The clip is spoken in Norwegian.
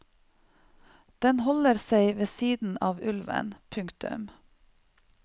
Den holder seg ved siden av ulven. punktum